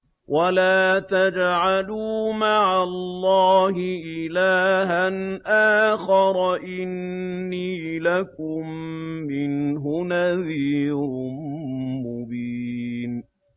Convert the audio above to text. وَلَا تَجْعَلُوا مَعَ اللَّهِ إِلَٰهًا آخَرَ ۖ إِنِّي لَكُم مِّنْهُ نَذِيرٌ مُّبِينٌ